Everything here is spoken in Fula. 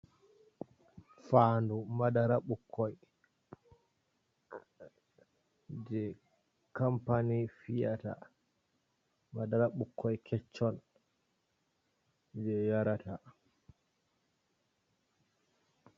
Faadu, madara ɓukkoi jei kampani fi'yata ɓukkoi kecchon jei yarata.